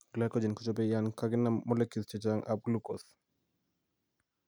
Glycogen kochobe yaan kakinam molecules chechang' ab glucose